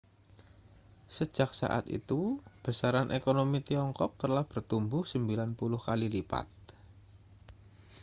sejak saat itu besaran ekonomi tiongkok telah bertumbuh 90 kali lipat